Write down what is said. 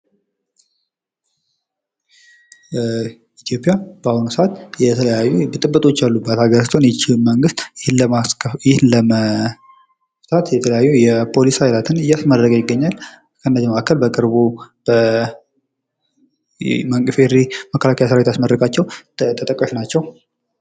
ኢትዮጵያ በአሁኑ ሰዓት የተለያዩ ብጥብጦች ያሉባት አገር ስትሆን ይህንንም መንግስት ለመፍታት የተለያዩ የፖሊስ ኃይላትን እያስመረቀ ይገኛል። ከነዚያ መካከል በቅርቡ የኢፌድሪ መከላከያ ሰራዊት ያስመረቃቸዉ ተጠቃሽ ናቸዉ።